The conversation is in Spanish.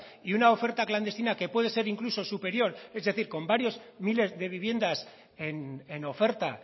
y una oferta clandestina que puede ser incluso superior es decir con varias miles de viviendas en oferta